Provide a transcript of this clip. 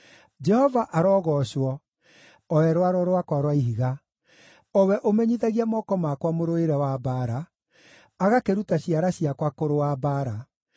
Jehova arogoocwo, o we Rwaro rwakwa rwa Ihiga, o we ũmenyithagia moko makwa mũrũĩre wa mbaara, agakĩruta ciara ciakwa kũrũa mbaara.